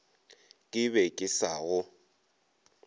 ke be ke sa go